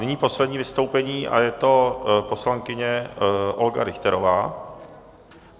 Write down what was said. Nyní poslední vystoupení a je to poslankyně Olga Richterová.